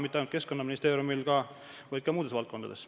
Mitte ainult Keskkonnaministeeriumil, vaid ka muudes valdkondades.